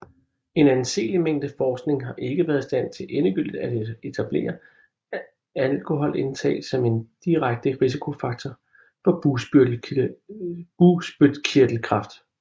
En anseelig mængde forskning har ikke været i stand til endegyldigt at etablere alkoholindtag som en direkte risikofaktor for bugspytkirtelkræft